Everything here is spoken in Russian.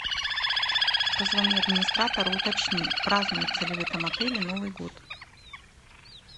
позвони администратору уточни празднуется ли в этом отеле новый год